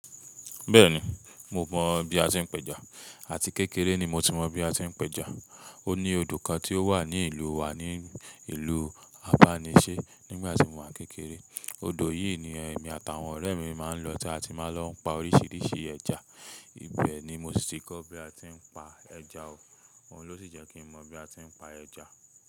Bẹ́ẹ̀ni, mo mọ bí a ti ń pẹja àti kékeré ni mo ti mọ bí a tí ń pẹja. Ó ní odò kan tí ó wà ní ìlú wa ní ìlú Abánisẹ́ nígbà tí mo wà kékeré. Odò yìí ni èmi àtàwọn ọ̀rẹ́ mi máa ń lọ tí a ti máa lọ ń pa oríṣiríṣi ẹja. Ibẹ̀ ni mo sì ti kọ́ bí a tí ń pa ẹja o. Òhun ló sì jẹ́ kí mọ bí a ti ń pa ẹja.